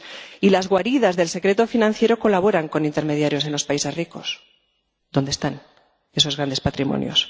Y las guaridas del secreto financiero colaboran con intermediarios en los países ricos, donde están esos grandes patrimonios.